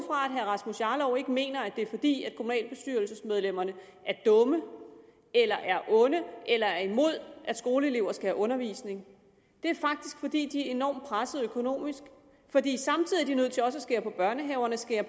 at herre rasmus jarlov ikke mener at det er fordi kommunalbestyrelsesmedlemmerne er dumme eller er onde eller er imod at skoleelever skal have undervisning det er faktisk fordi de er enormt pressede økonomisk fordi de samtidig er nødt til også at skære ned på børnehaverne skære